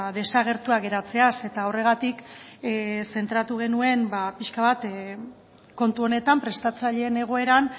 desagertua geratzeaz eta horregatik zentratu genuen ba pixka bat kontu honetan prestatzaileen egoeran